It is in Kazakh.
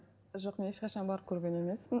жоқ мен ешқашан барып көрген емеспін